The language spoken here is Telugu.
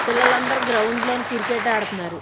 పిల్లలందరూ గ్రౌండ్ లోని క్రికెట్ ఆడతున్నారు.